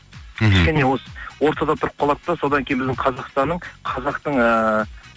мхм кішкене осы ортада тұрып қалады да содан кейін біздің қазақстанның қазақтың ыыы